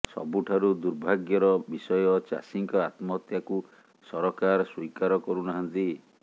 ସବୁଠାରୁ ଦୁର୍ଭାଗ୍ୟର ବିଷୟ ଚାଷୀଙ୍କ ଆତ୍ମହତ୍ୟାକୁ ସରକାର ସ୍ୱୀକାର କରୁନାହାନ୍ତି